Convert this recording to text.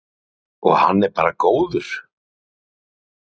Hugrún: Og hann er bara góður?